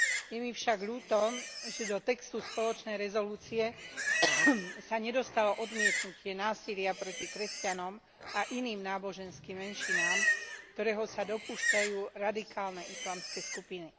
Je mi však ľúto, že do textu spoločnej rezolúcie sa nedostalo odmietnutie násilia proti kresťanom a iným náboženským menšinám, ktorého sa dopúšťajú radikálne islamské skupiny.